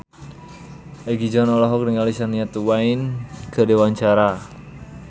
Egi John olohok ningali Shania Twain keur diwawancara